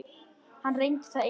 Hann reyndi það einu sinni.